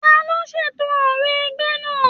Taló ṣètò òrò ẹgbẹ náà?